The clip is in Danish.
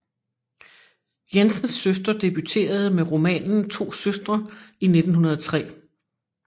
Jensens søster debuterede med romanen To Søstre i 1903